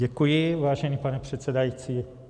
Děkuji, vážený pane předsedající.